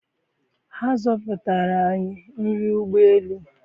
ha zọpụtara anyị nri ụgbọ elu